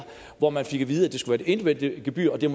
hvor man fik at vide at det skulle være et individuelt gebyr og at det